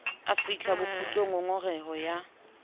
a fihlang bokgutlong ngongoreho ya